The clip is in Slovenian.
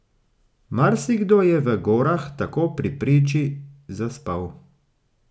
Marsikdo je v gorah tako pri priči zaspal.